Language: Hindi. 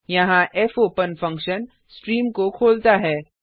यहाँ फोपेन फंक्शन स्ट्रीम को खोलता है